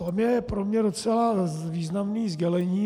- To je pro mě docela významné sdělení.